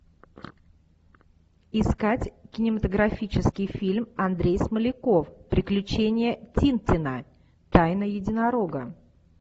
искать кинематографический фильм андрей смоляков приключения тинтина тайна единорога